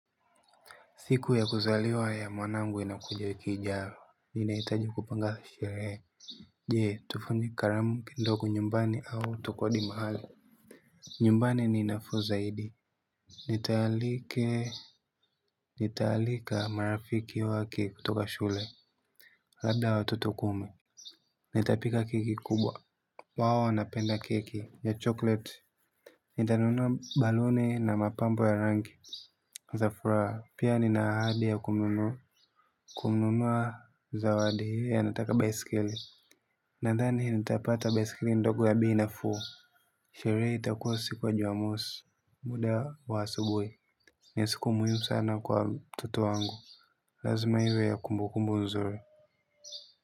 Siku ya kuzaliwa ya mwanangu inakuja wiki ijayo, ninahitaji kupanga sherehe. Jee tufanye karamu kidogo nyumbani au tukodi mahala. Nyumbani ni nafuu zaidi. Nitaalike nitaalika marafiki wakitoka shule. Labda watoto kumi. Nitapika keki kubwa wao wanapenda keki ya chokleti. Nitanunua baluni na mapambo ya rangi Zafuraa pia nina ahadi ya kununu kununuaa zawadi hiyo anataka baiskeli. Nandhani nitapata baiskeli ndogo ya bei nafuu. Sheree itakua siku ya Jumamosi muda wa asubui. Ni siku muhimu sana kwa mtoto wangu. Lazima iwe ya kumbukumbu nzuri.